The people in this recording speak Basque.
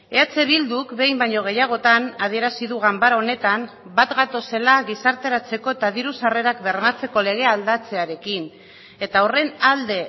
eh bilduk behin baino gehiagotan adierazi du ganbara honetan bat gatozela gizarteratzeko eta diru sarrerak bermatzeko legea aldatzearekin eta horren alde